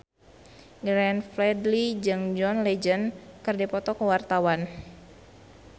Glenn Fredly jeung John Legend keur dipoto ku wartawan